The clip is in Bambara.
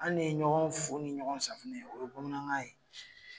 An ne ye ɲɔgɔn fu ni ɲɔgɔn safinɛ ye o ye bamanankan ye